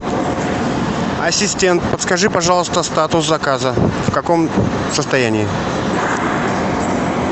ассистент подскажи пожалуйста статус заказа в каком состоянии